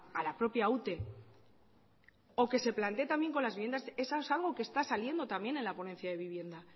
a la propia ute o que se plantee también con las viviendas eso es algo que está saliendo también en la ponencia de vivienda